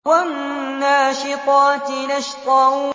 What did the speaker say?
وَالنَّاشِطَاتِ نَشْطًا